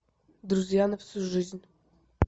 друзья на всю жизнь